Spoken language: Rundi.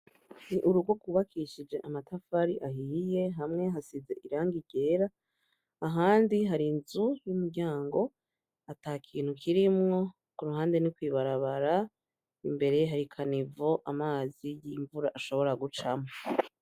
Urugo rwubakishije amatafari ahiye hamwe hasize irangi ryera ahandi harinzu y'umuryango atakintu kirimwo kuruhande ni kwibarabara imbere hari kanivo amazi y'imvura ashobora gucamwo.